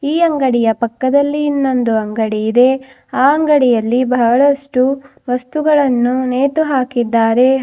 ಈ ಅಂಗಡಿಯ ಪಕ್ಕದಲ್ಲಿ ಇನ್ನೊಂದು ಅಂಗಡಿ ಇದೆ ಆ ಅಂಗಡಿಯಲ್ಲಿ ಬಹಳಷ್ಟು ವಸ್ತುಗಳನ್ನು ನೇತು ಹಾಕಿದ್ದಾರೆ.